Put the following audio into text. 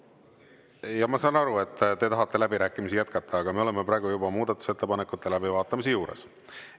Jaa, ma saan aru, et te tahate läbirääkimisi jätkata, aga me oleme praegu juba muudatusettepanekute läbivaatamise juures.